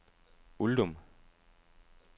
Uldum